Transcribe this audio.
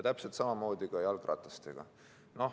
Täpselt samamoodi on jalgratastega.